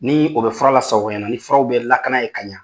Ni o bɛ fura lasago ka ɲɛ, ni furaw bɛ lakana yen ka ɲa